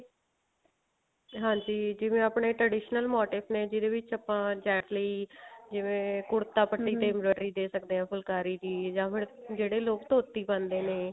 ਹਾਂਜੀ ਜਿਵੇਂ ਆਪਣੇ traditional motive ਨੇ ਜਿਹਦੇ ਵਿੱਚ ਆਪਾਂ gent ਲਈ ਜਿਵੇਂ ਕੁੜਤਾ ਦੇ ਸਕਦੇ ਹਾਂ ਫੁਲਕਾਰੀ ਦੀ ਜਾਂ ਫ਼ੇਰ ਜਿਹੜੇ ਲੋਕ ਧੋਤੀ ਪਾਉਂਦੇ ਨੇ